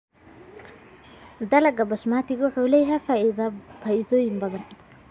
Dalagga Basmati wuxuu leeyahay faa'iidooyin badan.